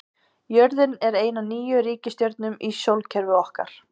Jörðin er ein af níu reikistjörnum í sólkerfi okkar.